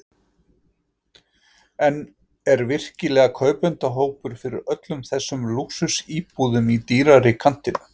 En er virkilega kaupendahópur fyrir öllum þessum lúxusíbúðum í dýrari kantinum?